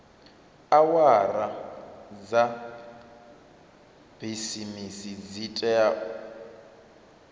awara dza bisimisi dzi tea